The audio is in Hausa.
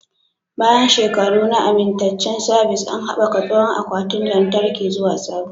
Bayan shekaru na amintaccen sabis, an haɓaka tsohon akwatin lantarki zuwa sabo.